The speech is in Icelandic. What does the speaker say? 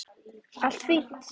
Allt fínt.